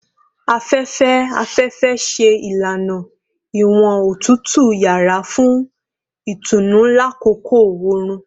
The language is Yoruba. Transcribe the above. Afẹfẹ-afẹfẹ ṣe ilana iwọn otutu yara fun itunu lakoko oorun